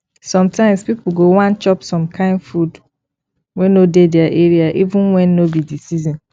sometimes pipo go wan chop some kind food wey no dey their area even when no be di season